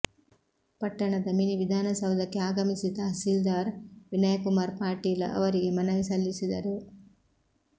ಪಟ್ಟಣದ ಮಿನಿವಿಧಾನಸೌಧಕ್ಕೆ ಆಗಮಿಸಿ ತಹಸೀಲ್ದಾರ್ ವಿನಯಕುಮಾರ ಪಾಟೀಲ ಅವರಿಗೆ ಮನವಿ ಸಲ್ಲಿಸಿದರು